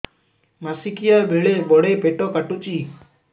ମାସିକିଆ ବେଳେ ବଡେ ପେଟ କାଟୁଚି